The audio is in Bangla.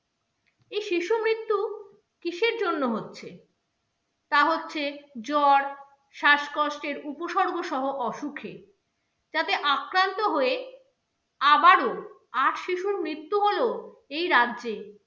কিসের জন্য হচ্ছে? তা হচ্ছে জ্বর, শ্বাসকষ্টের উপসর্গসহ অসুখে, তাতে আক্রান্ত হয়ে আবারো আট শিশুর মৃত্যু হলো এই রাজ্যে।